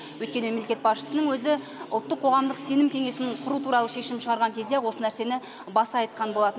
өйткені мемлекет басшысының өзі ұлттық қоғамдық сенім кеңесін құру туралы шешім шығарған кезде ақ осы нәрсені баса айтқан болатын